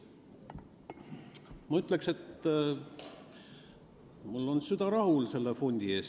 Ma ütleksin, et minu süda on selle fondi pärast rahulik.